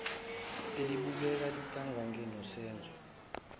elibukeka lintanganye nosenzo